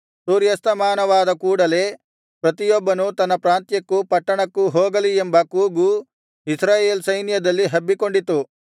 ಸೂರ್ಯಸ್ತಮಾನವಾದ ಕೂಡಲೆ ಪ್ರತಿಯೊಬ್ಬನೂ ತನ್ನ ಪ್ರಾಂತ್ಯಕ್ಕೂ ಪಟ್ಟಣಕ್ಕೂ ಹೋಗಲಿ ಎಂಬ ಕೂಗು ಇಸ್ರಾಯೇಲ್ ಸೈನ್ಯದಲ್ಲಿ ಹಬ್ಬಿಕೊಂಡಿತು